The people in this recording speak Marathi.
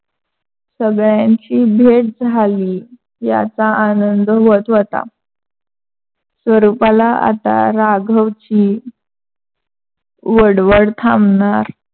सगळयांची भेट झाली याचा आनंद व्‍हत होता. स्वरूपाला आता राघवची वळवळ थांबनार